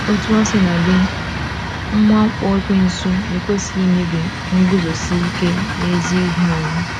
Otú o sina dị, mwakpo ekwensu ekwesịghị imebi nguzosi ike n’ezi ihe anyị.